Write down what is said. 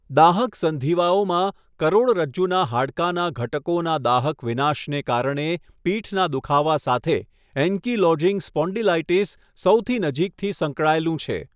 દાહક સંધિવાઓમાં, કરોડરજ્જુનાં હાડકાનાં ઘટકોનાં દાહક વિનાશને કારણે પીઠનાં દુખાવા સાથે એન્કીલોઝિંગ સ્પોન્ડિલાઇટિસ સૌથી નજીકથી સંકળાયેલું છે.